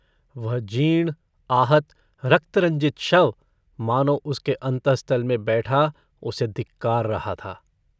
वह जीर्ण आहत रक्तरञ्जित शव मानो उसके अन्तस्तल में बैठा उसे धिक्कार रहा था।